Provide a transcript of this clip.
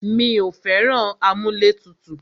Mí ò fẹ́ràn amúlẹ̀tutù.